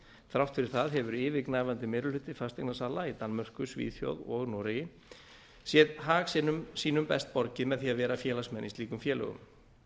þrátt fyrir það hefur yfirgnæfandi meirihluti fasteignasala í danmörku svíþjóð og noregi séð hag sínum best borgið með því að vera félagsmenn í slíkum félögum